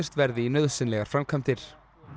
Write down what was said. verði í nauðsynlegar framkvæmdir